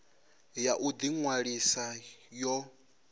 ya u ḓi ṅwalisa yo